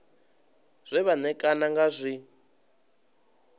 zwe vha ṋekana ngazwo zwi